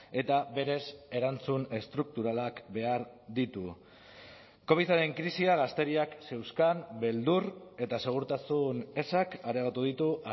eta berez erantzun estrukturalak behar ditu covidaren krisia gazteriak zeuzkan beldur eta segurtasun ezak areagotu ditu